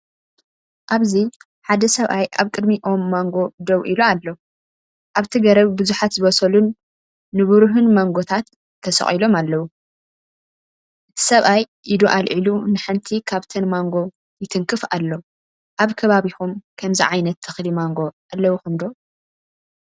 ኣብዚ ሓደ ሰብኣይ ኣብ ቅድሚ ኦም ማንጎ ደው ኢሉ ኣሎ። ኣብቲ ገረብ ብዙሓት ዝበሰሉን ንብሩህን ማንጎታት ተሰቒሎም ኣለዉ። እቲ ሰብኣይ ኢዱ ኣልዒሉ ንሓንቲ ካብተን ማንጎ ይትንክፍ ኣሎ። ኣብ ከባቢኩም ከምዚ ዓይነታት ተክሊ ማንጎ ኣለውኩም ዶ?